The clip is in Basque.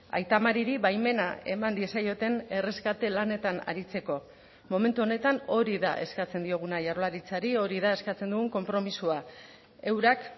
aita mariri baimena eman diezaioten erreskate lanetan aritzeko momentu honetan hori da eskatzen dioguna jaurlaritzari hori da eskatzen dugun konpromisoa eurak